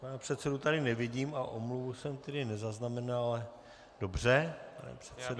Pana předsedu tady nevidím a omluvu jsem tedy nezaznamenal, ale dobře, pane předsedo.